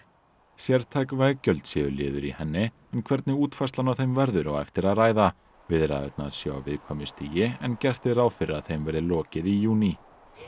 sértæk veggjöld séu liður í henni en hvernig útfærslan á þeim verður á eftir að ræða viðræðurnar séu á viðkvæmu stigi en gert er ráð fyrir að þeim verði lokið í júní